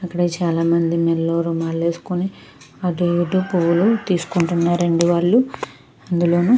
అక్కడ చాలా మంది మాలేస్కోని అటు ఇటు పూలు తీస్కుంటున్నారండి వాళ్ళు అందులోను.